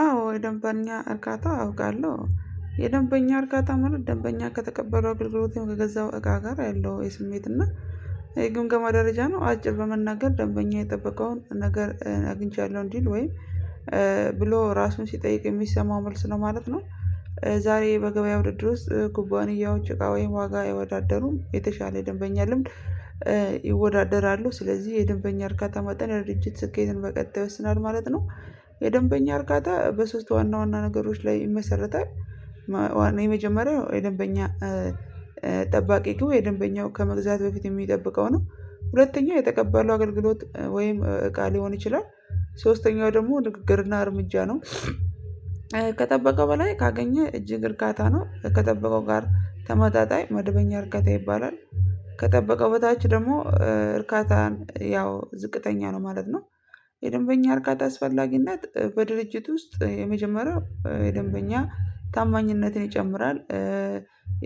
አዎ የደንበኛ እርካታ አውቃለሁ የደንበኛ እርካታ ማለት ደንበኛ ከተቀበለው አገልግሎት ከገዛው እቃ ጋር ያለው የስሜት እና የግምገማ ደረጃ ነው አጭር በመናገር ደንበኛ የጠበቀውን ነገር አግኝቻለሁ እንዲል ወይም ብሎ ራሱን ሲጠይቅ የሚሰማው መልስ ነው ማለት ነው። ዛሬ በገበያ ውድድር ውስጥ ኩባንያዎች እቃ ወይም ዋጋ አያወዳደሩም የተሻለ ደንበኛ ልምድ ይወዳደራሉ ስለዚህ የደንበኛ እርካታ መጣ የድርጅት ስኬትን በቀጥ ይወስናል ማለት ነው። የደንበኛ እርጋታ በሶስት ዋና ዋና ነገሮች ላይ ይመሰርታል። የመጀመሪያው የደንበኛ ጠባቂ ግቡ የደንበኛው ከመግዛት በፊት የሚጠብቀው ነው። ሁለተኛው የተቀባለው አገልግሎት ወይም እቃ ሊሆን ይችላል። ሶስተኛው ደግሞ ንግግርና እርምጃ ነው። ከጠበቀ በላይ ካገኘ እጅግ እርካታ ነው ከጠበቀው ጋር ተመጣጣኝ መደበኛ እርካታ ይባላል። ከጠበቀው በታች ደግሞ እርካታን ያው ዝቅተኛ ነው ማለት ነው። የደንበኛ እርካታ አስፈላጊነት በድርጅት ውስጥ የመጀመሪያው የደንበኛ ታማኝነትን ይጨምራል።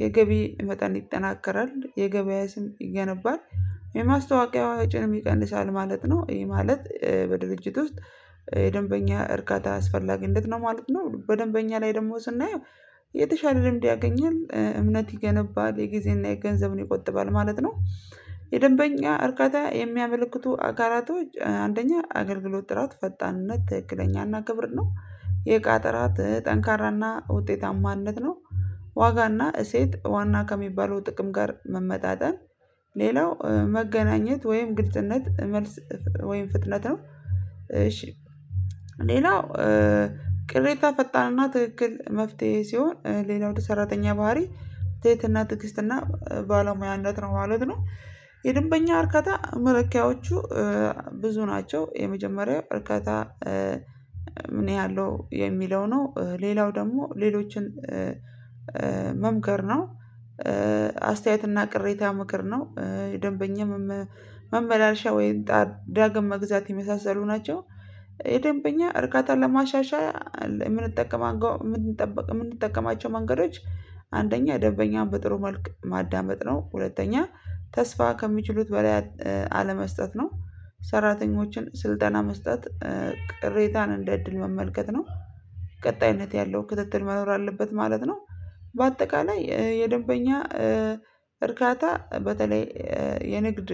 የገቢ መጠን ይጠናከራል የገበያ ስም ይገነባል የማስታወቂያ ወጭንም ይቀንሳል ማለት ነው። ይህ ማለት በድርጅት ውስጥ የደንበኛ እርካታ አስፈላጊነት ነው ማለት ነው። በደንበኛ ላይ ደሞ ስናየው የተሻለ ልምድ ያገኛል እምነት ይገነባል የጊዜና የገንዘብን ይቆጥባል ማለት ነው። የደንበኛ እርካታ የሚያመለክቱ አጋራቶች አንደኛ አገልግሎት ጥራት ፈጣንነት ትክክለኛና ክብር ነው የእቃ ጥራት ጠንካራና ውጤታማነት ነው። ዋጋና እሴት ዋና ከሚባለው ጥቅም ጋር መመጣጠን ሌላው መገናኘት ወይም ግድጽነት መልስ ወይም ፍጥነት ነው። እሺ ሌላው ቅሬታ ፈጣንና ትክክል መፍትሄ ሲሆን ሌላው ወደ ሰራተኛ ባህሪ ተህትና ትዕግስትና ባለሙያነት ነው ማለት ነው። የደንበኛ እርከታ መለኪያዎቹ ብዙ ናቸው የመጀመሪያው እርከታ ምን ያህል ነው የሚለው ነው? ሌላው ደግሞ ሌሎችን መምከር ነው። አስተያየትና ቅሬታ ምክር ነው የደንበኛ መመላለሻ ወይም ዳግም መግዛት የመሳሰሉ ናቸው። የደንበኛ እርካታ ለማሻሻል እምንጠቀማቸው መንገዶች አንደኛ ደበኛን በጥሩ መልክ ማዳመጥ ነው። ሁለተኛ ተስፋ ከሚችሉት በላይ አለመስጠት ነው። ሰራተኞችን ስልጠና መስጠት ቅሬታን እንደ እድል መመልከት ነው። ቀጣይነት ያለው ክትትል መኖር አለበት ማለት ነው። በአጠቃላይ የደንበኛ እርካታ በተለይ የንግድ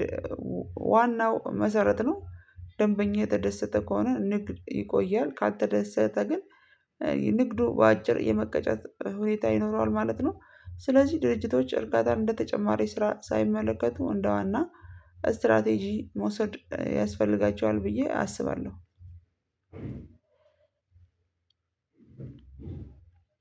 ዋናው መሰረት ነው። ደንበኛ የተደሰተ ከሆነ ንግድ ይቆያል ካልተደሰተ ግን ንግዱ በአጭር የመቀጨት ሁኔታ ይኖረዋል ማለት ነው። ስለዚህ ድርጅቶች እርካታን እንደተጨማሪ ስራ ሳይመለከቱ እንደዋና ስትራቴጂ መውሰድ ያስፈልጋቸዋል ብዬ አስባለሁ።